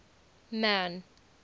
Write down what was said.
man